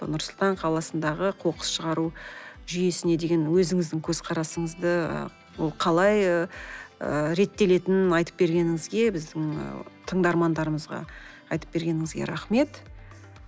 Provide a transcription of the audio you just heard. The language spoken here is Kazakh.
нұр сұлтан қаласындағы қоқыс шығару жүйесіне деген өзіңіздің көзқарасыңызды ол қалай ыыы реттелетінін айтып бергеніңізге біздің тыңдармандарымызға айтып бергеніңізге рахмет